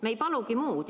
Me ei palugi muud.